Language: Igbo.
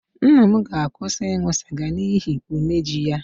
Nna m ga-akwụsị ịṅụ sịga n'ihi umeji ya